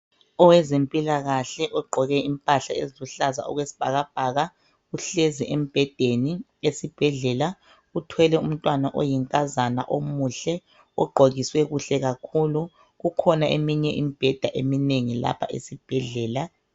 Owezempilakahke ogqoke impahla eziluhlaza okwesibhakabhaka uhlezi embhedeni esibhedlela uthwele umntwana oyinkazana omuhle ogqokiswe kuhle kakhulu, kukhona eminye imbheda eminengi lapha esibhedlela.